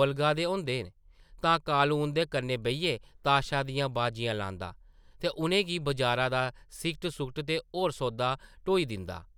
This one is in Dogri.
बलगा दे होंदे न तां कालू उंʼदे कन्नै बेहियै ताशा दियां बाजियां लांदा ते उʼनें गी बजारा दा सिगट-सुगट ते होर सौदा ढोई दिंदा ।